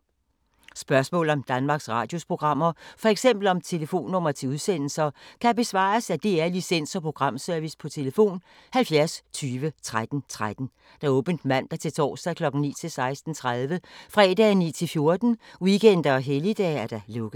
Spørgsmål om Danmarks Radios programmer, f.eks. om telefonnumre til udsendelser, kan besvares af DR Licens- og Programservice: tlf. 70 20 13 13, åbent mandag-torsdag 9.00-16.30, fredag 9.00-14.00, weekender og helligdage: lukket.